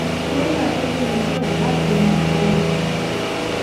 lẹyìn atótónu díẹ láti ẹnu ọgbẹni